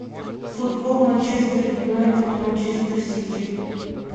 футбол манчестер юнайтед манчестер сити